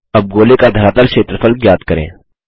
अब गोले का धरातल क्षेत्रफल ज्ञात करें